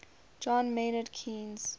john maynard keynes